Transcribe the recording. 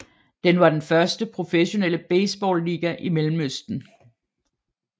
Den var den første professionelle baseballiga i Mellemøsten